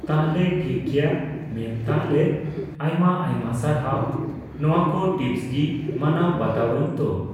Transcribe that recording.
ᱛᱟᱦᱞᱮ ᱴᱷᱤᱠᱜᱮᱭᱟ ᱢᱮᱢᱛᱟᱦᱚᱞᱮ ᱟᱭᱢᱟ ᱟᱭᱢᱟ ᱥᱟᱨᱦᱟᱣ ᱱᱚᱣᱟᱠᱩ ᱴᱤᱯᱥ ᱜᱤ ᱢᱟᱱᱟᱣ ᱵᱟᱛᱟᱣᱟᱹᱧ ᱛᱚ ?